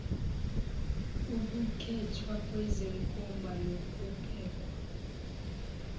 ukukhethwa kwezenkomba nokubekwa